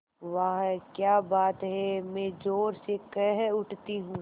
वाह क्या बात है मैं ज़ोर से कह उठती हूँ